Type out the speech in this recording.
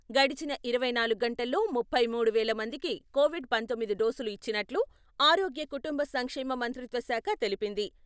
గడచిన ఇరవై నాలుగు గంటల్లో ముప్పై మూడు వేల మందికి కొవిడ్ పంతొమ్మిది డోసులు ఇచ్చినట్లు ఆరోగ్య కుటుంబ సంక్షేమ మంత్రిత్వ శాఖ తెలిపింది.